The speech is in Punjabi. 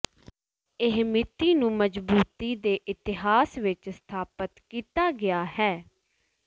ਇਹ ਮਿਤੀ ਨੂੰ ਮਜ਼ਬੂਤੀ ਦੇ ਇਤਿਹਾਸ ਵਿਚ ਸਥਾਪਿਤ ਕੀਤਾ ਗਿਆ ਹੈ